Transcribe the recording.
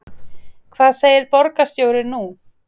Hvað segir borgarstjóri nú?